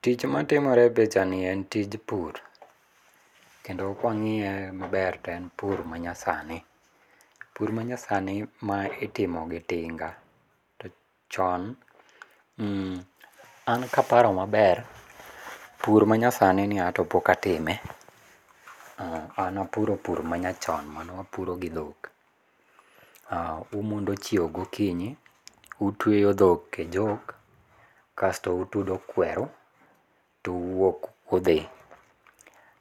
Tich matimore e pichani en tich pur kendo kwangiye maber to en pur manyasani. Pur manyasani ma itimo gi tinga to chon, an kaparo maber ,pur manyasani ni ato pok atime, an apuro pur manyachon mane wapuro gi dhok. Umondo chiew gokinyi, utweyo dhok e jok, kasto utudo kweru to uwuok udhi.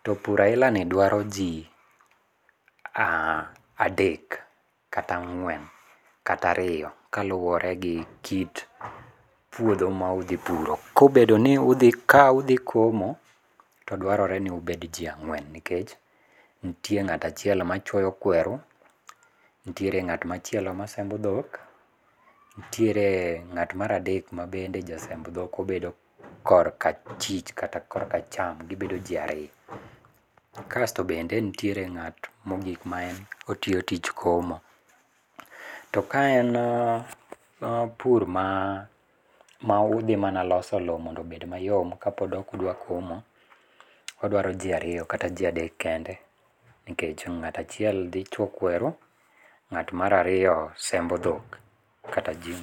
To pur aila ni dwaro jii adek kata ang'wen kata ariyo kaluore gi kit puodho ma udhi puro. Kobedo ni udhi, ka udhi komo to dwarore ni ubed jii ang'wen nikech nitie ng'at achiel machuoyo kweru, nitiere ng'at machielo masembo dhok, nitiere ng'at mar adek mabende ja semb dhok obedo korka achich kata korka acham, gibedo jii ariyo. Kasto bende nitie ng'at mogik matiyo tich komo. To kaen pur ma, ma udhi mana loso loo mondo obed mayom kapod ok udwa komo, odwaro jii ariyo kata jii adek kende nikech ng'at achiel dhi chwe kweru, ng'at mar ariyo sembo dhok kata jii